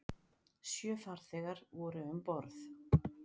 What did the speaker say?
Sjö farþegar voru um borð